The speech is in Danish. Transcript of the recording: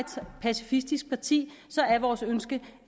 som pacifistisk parti er vores ønske